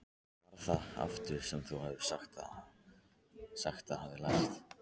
Hvað var það aftur sem þú sagðist hafa lært?